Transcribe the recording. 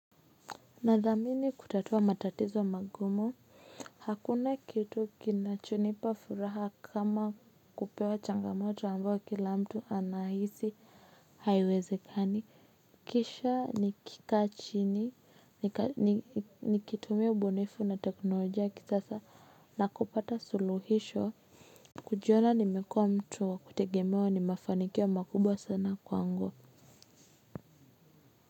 Nathamini kutatua matatizo magumo, hakuna kitu kinachonipa furaha kama kupewa changamoto ambao kila mtu anahisi haiwezekani, kisha nikika chini, nikitumia ubunifu na teknolojia ya kisasa, nakupata suluhisho. Kujiona nimekuwa mtu wa kutegemewa ni mafanikio makubwa sana kwangu.